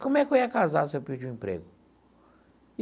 Como é que eu ia casar se eu perdi um emprego?